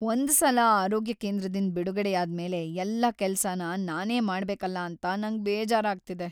ಒಂದ್ ಸಲ ಆರೋಗ್ಯ ಕೇಂದ್ರದಿಂದ್ ಬಿಡುಗಡೆಯಾದ್ ಮೇಲೆ ಎಲ್ಲ ಕೆಲ್ಸನ ನಾನೇ ಮಾಡ್ಬೇಕಲ್ಲ ಅಂತ ನಂಗ್ ಬೇಜಾರಾಗ್ತಿದೆ.